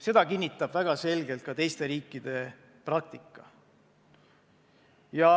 Seda kinnitab ka väga selgelt teiste riikide praktika.